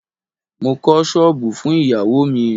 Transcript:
Mo kọ́ ṣọ́bùù fún ìyáwó mi.